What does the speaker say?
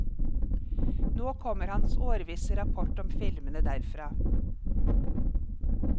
Nå kommer hans årvisse rapport om filmene derfra.